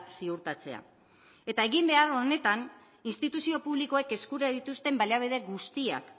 ziurtatzea eta eginbehar honetan instituzio publikoek eskura dituzten baliabide guztiak